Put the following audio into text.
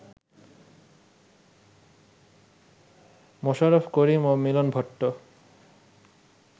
মোশাররফ করিম ও মিলন ভট্ট